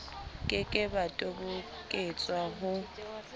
ke ke ba toboketswa ho